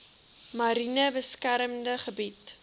mariene beskermde gebied